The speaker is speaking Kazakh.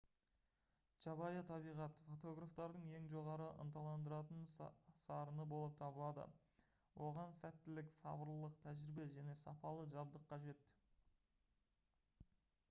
жабайы табиғат фотографтардың ең жоғары ынталандыратын сарыны болып табылады оған сәттілік сабырлылық тәжірибе және сапалы жабдық қажет